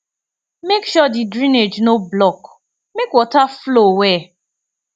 make sure di drainage no block make water flow well